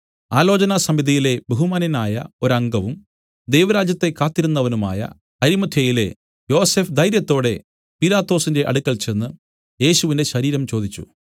ആലോചനാസമിതിയിലെ ബഹുമാന്യനായ ഒരംഗവും ദൈവരാജ്യത്തെ കാത്തിരുന്നവനുമായ അരിമത്ഥ്യയിലെ യോസഫ് ധൈര്യത്തോടെ പീലാത്തോസിന്റെ അടുക്കൽ ചെന്ന് യേശുവിന്റെ ശരീരം ചോദിച്ചു